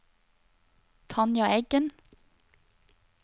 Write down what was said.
Tanja Eggen